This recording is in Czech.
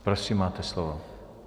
Prosím, máte slovo.